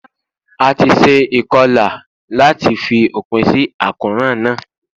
A ti se ìkolà láàti fi òpinsí àkóràn náà